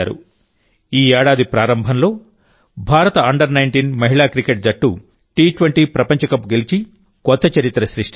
ఈ ఏడాది ప్రారంభంలో భారత అండర్19 మహిళా క్రికెట్ జట్టు టీ20 ప్రపంచకప్ గెలిచి కొత్త చరిత్ర సృష్టించింది